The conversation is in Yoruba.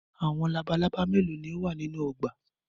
Awọn labalaba melo ni o wa ninu ọgba?